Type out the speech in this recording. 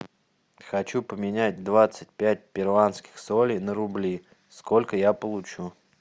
хочу поменять двадцать пять перуанских солей на рубли сколько я получу